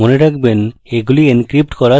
মনে রাখবেন এগুলি encrypt করা থাকে